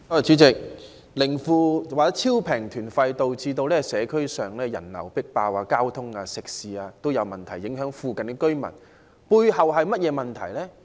主席，"零負"或超低價團費導致社區人流"迫爆"，交通、食肆各方面都出現問題，影響附近的居民，背後是甚麼問題呢？